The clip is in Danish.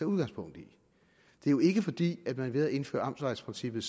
udgangspunkt i det er jo ikke fordi vi ved at indføre amtsvejprincippet